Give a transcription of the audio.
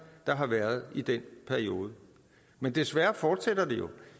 der har været i den periode men desværre fortsætter det jo